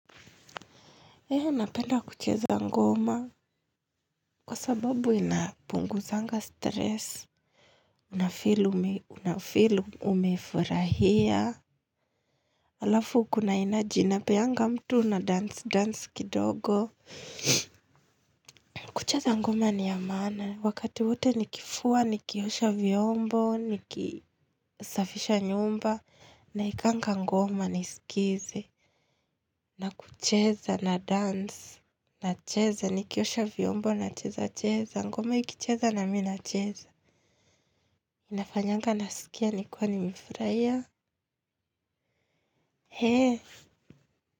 Hee napenda kucheza ngoma kwa sababu inapunguzanga stress, unafeel umefurahia, alafu kuna energy inapeanga mtu na dance, dance kidogo. Kucheza ngoma ni amana, wakati wote nikifua, nikiosha vyombo, nikisafisha nyumba, naekanga ngoma nisikize. Na kucheza na dance. Na cheza ni kiosha vyombo na cheza cheza. Ngoma ikicheza na mi nacheza. Inafanyanga nasikia ni kiwa nimefurahia hee.